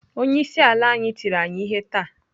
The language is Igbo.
Onye isi ala anyị tiri anyị ihe taa.